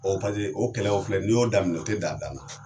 o kɛlɛ o filɛ nin y'o damina, o ti dan, a dan na